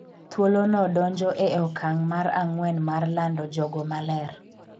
thuolo no donjo e okang' mar ang'wen mar lando jogo ma ler